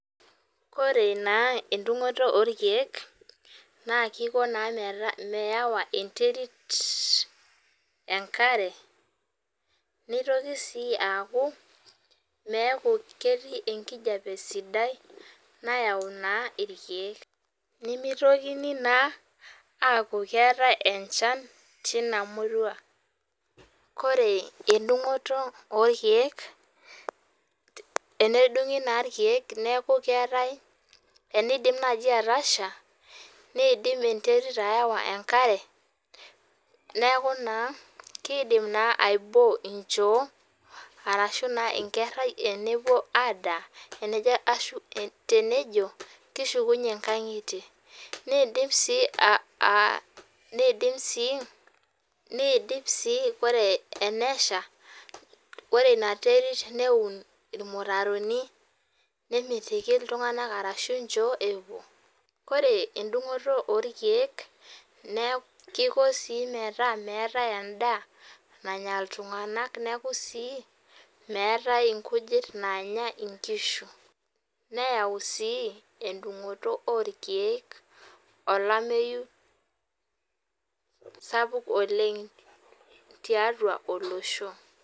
Ore naa endungoto orkiek naa kiko naa mewa enterit enkare nitoki sii aaku meeku ketii enkijape sidai nayau naa irkiek ,nemitokini naa aaku keetae enchan tina murua . Ore endungoto orkiek , enedungi naa irkiek neku keetae enidim naji atasha nidim enterit awa enkare neaku naa aiboo inchoo aashu naa inkerai tenepuo adaa enejo kishukunyie inkangitie ,nindim siiore enesha ore inaterit neun irmutaroni nemitiki iltunganak ashu inychoo epuo .Ore edungoto orkiek kiko sii metaa meetae endaa nanya iltunganak , neku sii meetae inkujit nanya inkishu , neyau sii endungoto orkiek olameyu sapuk oleng tiatua olosho.